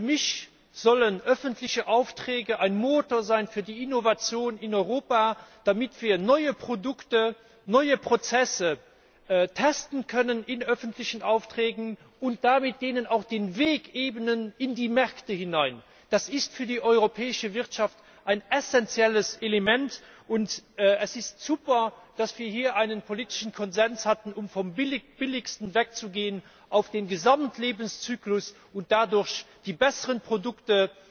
Für mich sollen öffentliche Aufträge ein Motor sein für die Innovation in Europa, damit wir neue Produkte, neue Prozesse in öffentlichen Aufträgen testen können und ihnen damit auch den Weg in die Märkte hinein ebnen. Das ist für die europäische Wirtschaft ein essenzielles Element, und es ist super, dass wir hier einen politischen Konsens hatten, um vom Billigsten wegzugehen auf den Gesamtlebenszyklus und dadurch den besseren Produkten